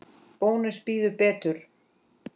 Bónus býður betur.